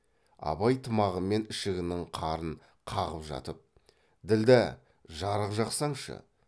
абай тымағы мен ішігінің қарын қағып жатып ділдә жарық жақсаңшы